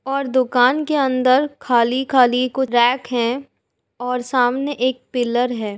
और दुकान के अंदर खाली-खाली कु रैक है और सामने एक पिल्लर है।